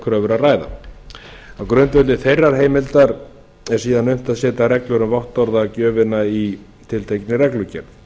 kröfur að ræða á grundvelli þeirrar heimildar er síðan unnt að setja reglur um vottorðagjöfina í tiltekinni reglugerð